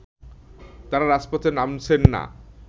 তারা রাজপথে নামছেন না